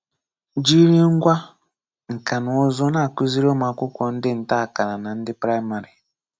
Jìrì ngwá nka na ụ̀zụ́ na-akụ́zìrí ụmụ́akwụ́kwọ́ ndị nta-àkàrà na ndị Praìmárì.